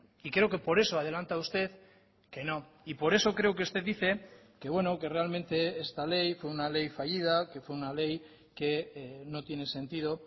y creo que por eso adelanta usted que no y por eso creo que usted dice que bueno que realmente esta ley fue una ley fallida que fue una ley que no tiene sentido